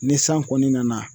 Ni san kɔni nana